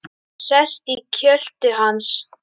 Sest í kjöltu hans.